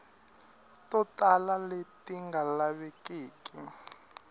to tala leti nga lavekeki